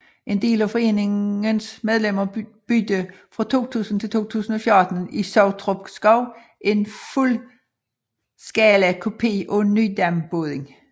En del af foreningens medlemmer byggede fra 2000 til 2014 i Sottrupskov en fuldskalakopi af Nydambåden